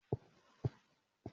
Mà á se ìrẹsì.